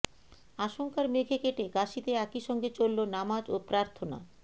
আশঙ্কার মেঘে কেটে কাশীতে একইসঙ্গে চলল নামাজ ও প্রার্থনা